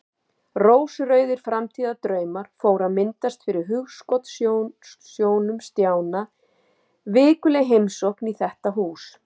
Rósrauðir framtíðardraumar fóru að myndast fyrir hugskotssjónum Stjána: Vikuleg heimsókn í þetta hús.